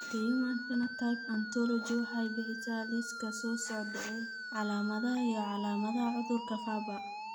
The Human Phenotype Ontology waxay bixisaa liiska soo socda ee calaamadaha iyo calaamadaha cudurka Farber.